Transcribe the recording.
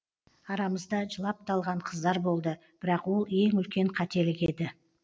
арамызда жылап та алған қыздар болды бірақ ол ең үлкен қателік еді